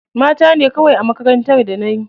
Mata ne kawai a makarantar da na yi.